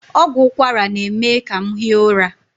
Ọgwụ ụkwara na-eme ka m hie ụra.